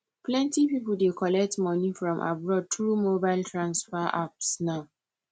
plenty people dey collect money from abroad through mobile transfer apps now